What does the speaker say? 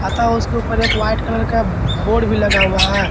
अतः उसके ऊपर एक वाइट कलर का बोर्ड भी लगा हुआ है।